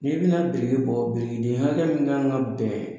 Ni bina biriki bɔ birikiden hakɛ min kan ka bɛn